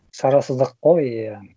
шарасыздық қой иә